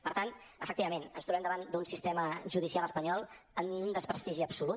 per tant efectivament ens trobem davant d’un sistema judicial espanyol amb un desprestigi absolut